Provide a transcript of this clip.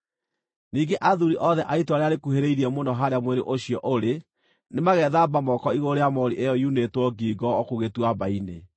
Ningĩ athuuri othe a itũũra rĩrĩa rĩkuhĩrĩirie mũno harĩa mwĩrĩ ũcio ũrĩ nĩmagethamba moko igũrũ rĩa moori ĩyo yunĩtwo ngingo o kũu gĩtuamba-inĩ,